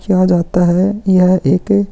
किया जाता है यह एक--